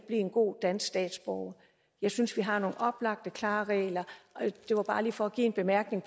en god dansk statsborger jeg synes vi har nogle oplagte klare regler det var bare lige for at give en bemærkning